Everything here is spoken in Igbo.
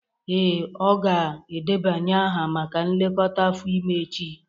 Ee, ọ ga-edebanye aha maka nlekọta afọ ime echi